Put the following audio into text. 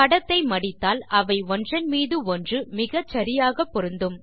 படத்தை மடித்தால் அவை ஒன்றன் மீது ஒன்று மிகச்சரியாக பொருந்தும்